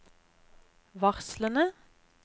varslene